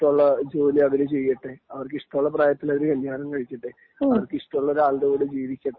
ഇഷ്ടമുള്ള ജോലി അവര് ചെയ്യട്ടെ അവർക്കിഷട്ടമുള്ള പ്രായത്തിൽ അവർ കല്യാണം കഴിക്കട്ടെ അവർക്കിഷ്ടമുള്ള ഒരാളുടെ കൂടെ ജീവിക്കട്ടെ